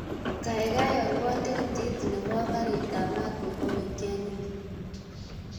Kagaigai alwon tikitit nepo karit ap maat nepo wikend ini